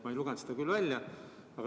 Ma ei lugenud seda välja.